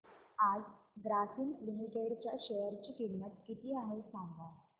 आज ग्रासीम लिमिटेड च्या शेअर ची किंमत किती आहे सांगा